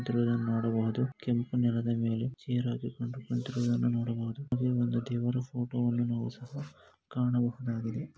ಚಿತ್ರವನ್ನು ನೋಡಬಹುದು ಕೆಂಪು ನೆಲದ ಮೇಲೆ ಚೈರ್ ಹಾಕಿಕೊಂಡು ಕುಂತಿರುವುದನ್ನು ನೋಡಬಹುದು ಅದೆ ಒಂದು ದೇವರ ಫೋಟೋ ವನ್ನು ನಾವು ಸಹ ಕಾಣಬಹುದಾಗಿದೆ .